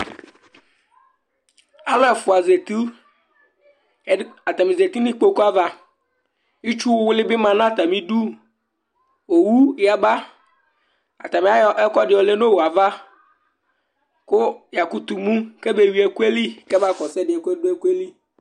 Alʋ ɛfʋa zati Ɛdɩ atanɩ zati nʋ ikpoku ava Itsuwlɩ bɩ ma nʋ atamɩdu Owu yaba Atanɩ ayɔ ɛkʋɛdɩ lɛ nʋ owu yɛ ava kʋ yakʋtʋ mu kɛbeyui ɛkʋ yɛ li kɛbaɣa kɔsʋ ɛdɩ yɛ ɔdʋ ɛkʋ yɛ li